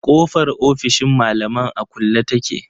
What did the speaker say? Kofar ofishin malaman a kulle take.